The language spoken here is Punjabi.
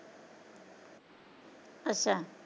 ਅੱਛਾ।